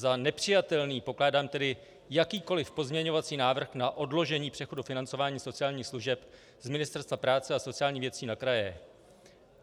Za nepřijatelný pokládám tedy jakýkoli pozměňovací návrh na odložení přechodu financování sociálních služeb z Ministerstva práce a sociálních věcí na kraje.